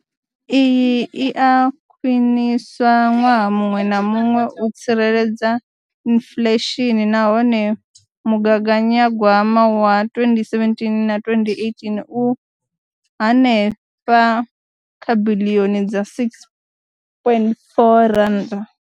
Iyi i a khwiniswa ṅwaha muṅwe na muṅwe u tsireledza inflesheni nahone mugaganyagwama wa 2017 na 2018 u henefha kha biḽioni dza R6.4.